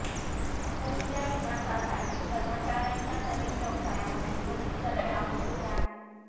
कंपनीच्या विकासासाठी कर्मचार्यांच्या नवीन व्यवसायामध्ये बदली करणे आवश्यक आहे